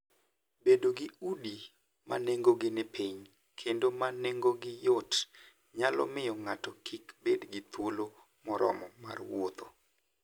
Bedo gi udi ma nengogi ni piny kendo ma nengogi yot, nyalo miyo ng'ato kik bed gi thuolo moromo mar wuotho.